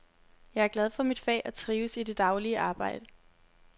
Jeg er glad for mit fag og trives i det daglige arbejde.